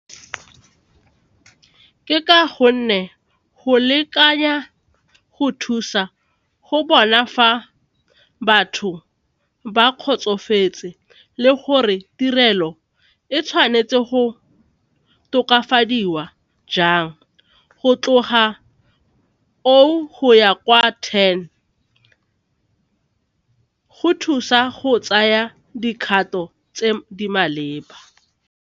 Ke ka gonne go lekanya go thusa go bona fa batho ba kgotsofetse le gore tirelo e tshwanetse go tokafadiwa jang go tloga oh go ya kwa ten go thusa go tsaya dikgato tse di maleba.